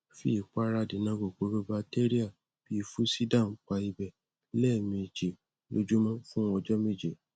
fi ìpara adènà kòkòrò batéríà bí i fusiderm pa ibẹ lẹẹmejì lójúmọ fún ọjọ méje